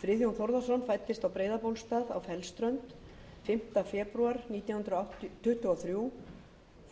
friðjón þórðarson fæddist á breiðabólstað á fellsströnd fimmta febrúar nítján hundruð tuttugu og þrír